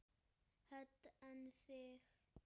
Hödd: En þig?